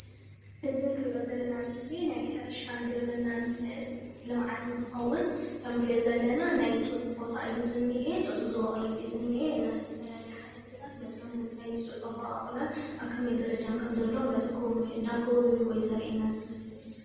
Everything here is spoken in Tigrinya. እዚ እንሪኦ ዘለና ምስሊ ናይ ሕርሻን ግብርናን ልምዓት እንትኸዉን ከም እንሪኦ ዘለና ናይ ጡጥ ቦታ እዩ ዝንኤ ጡጥ ዝቦቕለሉ እዩ ዝንኤ እና ዝተፈላለዩ ሓለፍትታት መፅዮም ነዚ ናይዚ ጡጥ ኣቦቓቕላ ኣብ ከመይ ደረጃ ከም ዘሎ እንዳጎብነይዎ እዩ ዘርእየና እዚ ምስሊ እዚ።